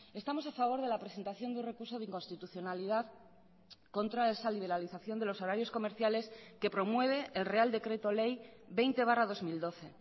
estamos a favor de la presentación deun recurso de inconstitucionalidad contra esa liberalización de los horarios comerciales que promueve el real decreto ley veinte barra dos mil doce